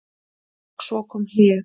Og svo kom hlé.